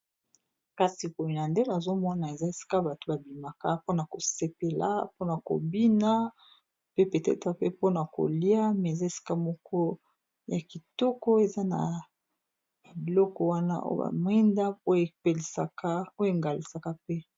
kasi komina nde nazomona eza esika bato babimaka mpona kosepela mpona kobina pe peteta pe mpona kolia me eza esika moko ya kitoko eza na biloko wana o bamwenda oyo engalisaka pe